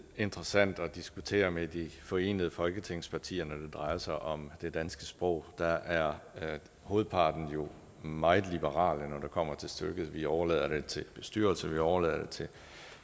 interessant at diskutere med de forenede folketingspartier når det drejer sig om det danske sprog der er hovedparten jo meget liberale når det kommer til stykket vi overlader det til bestyrelser vi overlader det til